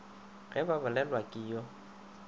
ge ba bolelelwa ke yo